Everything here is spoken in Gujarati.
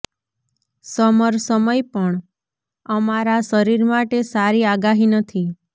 સમર સમય પણ અમારા શરીર માટે સારી આગાહી નથી